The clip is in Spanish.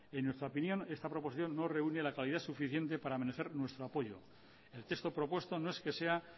en nuestra opinión esta proposición no reúne la calidad suficiente para merecer nuestro apoyo el texto propuesto no es que sea